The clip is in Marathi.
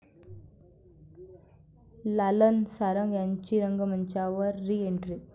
लालन सारंग यांची रंगमंचावर रिएंट्री